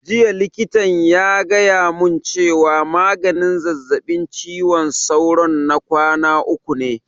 Jiya likitan ya gaya mun cewa maganin zazzaɓin ciwon sauro na kwana uku ne